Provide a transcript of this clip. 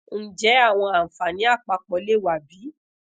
njẹ awọn anfani apapọ le wa bi